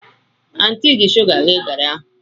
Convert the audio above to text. Anti ji sugar ghee gari ahụ.